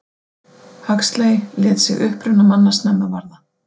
Huxley lét sig uppruna manna snemma varða.